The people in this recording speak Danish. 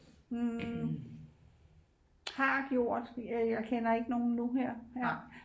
har gjort jeg kender ikke nogen nu her